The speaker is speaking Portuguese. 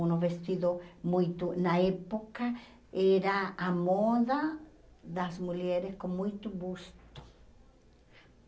Um vestido muito... Na época, era a moda das mulheres com muito busto.